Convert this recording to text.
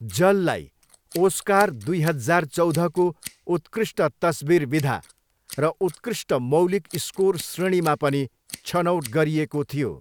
जललाई Oscar दुई हजार चौधको उत्कृष्ट तस्विर विधा र उत्कृष्ट मौलिक स्कोर श्रेणीमा पनि छनौट गरिएको थियो।